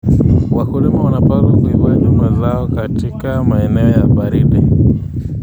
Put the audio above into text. Wakulima wanapaswa kuhifadhi mazao katika maeneo ya baridi.